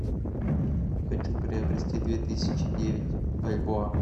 хочу приобрести две тысячи девять бальбоа